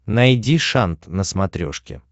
найди шант на смотрешке